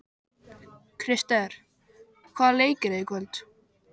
Krister, hvaða leikir eru í kvöld?